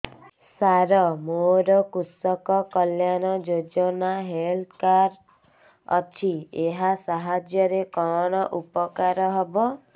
ସାର ମୋର କୃଷକ କଲ୍ୟାଣ ଯୋଜନା ହେଲ୍ଥ କାର୍ଡ ଅଛି ଏହା ସାହାଯ୍ୟ ରେ କଣ ଉପକାର ହବ